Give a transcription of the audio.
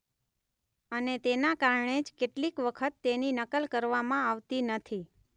અને તેના કારણે જ કેટલીક વખત તેની નકલ કરવામાં આવતી નથી.